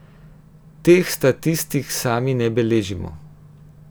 Teh statistik sami ne beležimo.